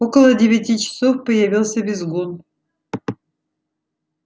около девяти часов появился визгун